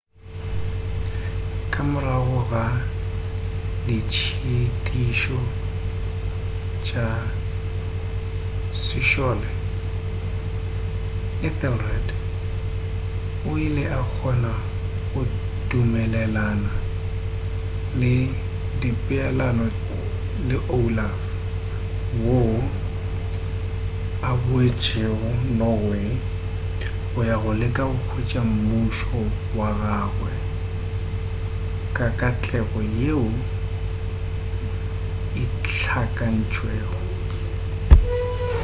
ka morago ga ditšhitišo tša sešole ethelred o ile a kgona go dumelelana le dipeelano le olaf woo a boetšego norway go ya go leka go hwetša mmušo wa gagwe ka katlego yeo e hlakantšwego